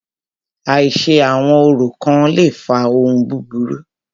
Àìṣe àwọn orò kán le fa ohun búburú.